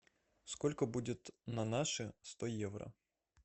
сколько будет на наши сто евро